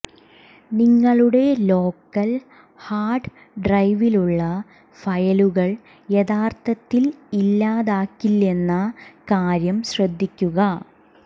നിങ്ങളുടെ local hard ഡ്രൈവിലുള്ള ഫയലുകൾ യഥാർത്ഥത്തിൽ ഇല്ലാതാക്കില്ലെന്ന കാര്യം ശ്രദ്ധിക്കുക